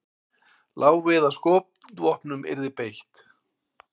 Lá við að skotvopnum yrði beitt